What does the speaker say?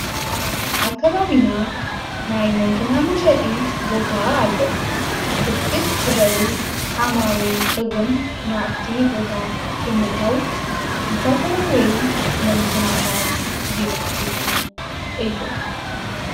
ኣብ ኣካባቢና ናይ መንኪና መሸጢ ቦታ ኣሎ ብርክት ዝበሉ ዓማዊ ኢል እውን ናብቲ ቦታ ብምእታው ዝተፈላለዩ መንኪናታት ይዕድጉ እዮም።